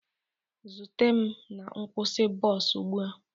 Zute m na nkwụsị bọs ugbu a!